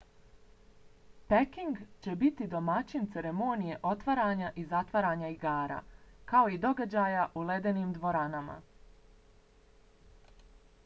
peking će biti domaćin ceremonije otvaranja i zatvaranja igara kao i događaja u ledenim dvoranama